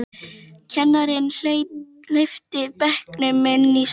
Kennarinn hleypti bekknum inn í stofu.